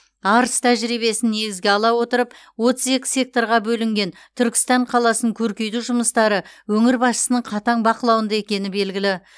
арыс тәжірибесін негізге ала отырып отыз екі секторға бөлінген түркістан қаласын көркейту жұмыстары өңір басшысының қатаң бақылауында екені белгілі